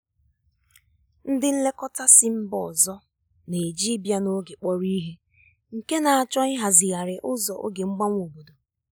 ndị nlekọta si mba ọzọ na-eji ịbịa n'oge kpọrọ ihe nke na-achọ ịhazigharị ụzọ oge mgbanwe obodo.